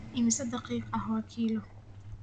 Immisa daqiiq ah waa kiiloo?